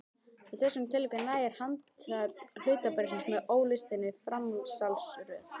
Í þessum tilvikum nægir handhöfn hlutabréfsins með óslitinni framsalsröð.